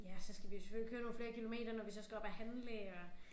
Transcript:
Ja og så skal vi jo selvfølgelig køre nogle flere kilometer når vi så skal op og handle og